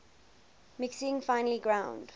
mixing finely ground